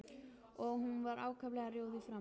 Og hún var ákaflega rjóð í framan.